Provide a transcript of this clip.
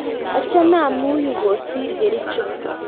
achame amii yu kosir Kericho.